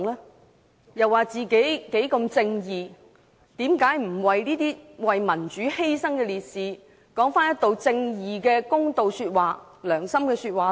他們聲稱自己十分正義，為何他們不為這些為民主犧牲的烈士說一句正義的公道說話、良心說話呢？